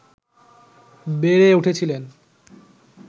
বেড়ে উঠেছিলেন